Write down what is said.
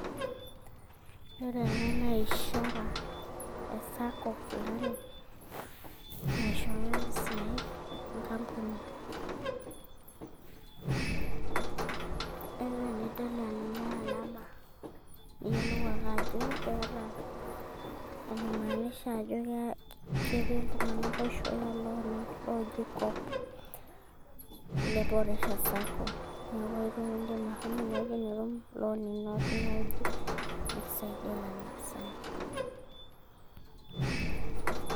ore ele naaishara e sacco fulani naishooyo mpisai enkampunineeku tenidol ele alama niyiolou ake ajo keeta enaimanisha ajo ketii iltung'anak oishooyo ilooni oji kop le boresha sacco